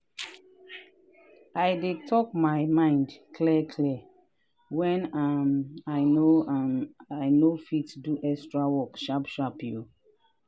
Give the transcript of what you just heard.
i dey talk my mind clear clear when um i no um i no fit do extra work sharp sharp.